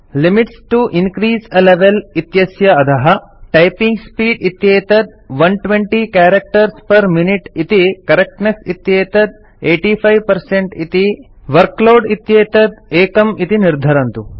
limits to increase a level इत्यस्य अधः typing speed इत्येतत् 120 कैरेक्टर्स् पेर् मिनुते इति करेक्टनेस इत्येतत् 85 इति वर्कलोड इत्येतत् 1 इति निर्धरन्तु